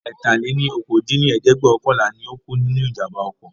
ẹ̀ta-lé-ní-okòó dín ní ẹ̀ẹ́dẹ́gbẹ́ọ̀kànlá ni ó kú nínú ìjàmbá oko